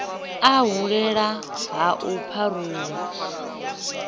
u hulela ha u pharuwa